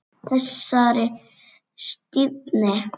Þessari stífni.